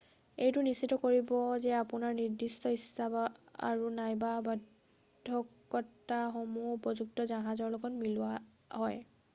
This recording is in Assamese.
এইটো নিশ্চিত কৰিব যে আপোনাৰ নিৰ্দিষ্ট ইচ্ছা আৰু/নাইবা বাধকতাসমূহ উপযুক্ত জাহাজৰ লগত মিলোৱা হয়।